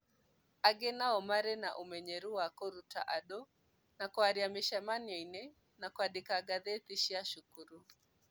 Angĩ nao marĩ na ũmenyeru wa kũruta andũ na kwaria mĩcemanio-inĩ na kwandĩka ngathĩti cia cukuru.